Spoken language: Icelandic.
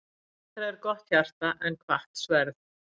Betra er gott hjarta en hvatt sverð.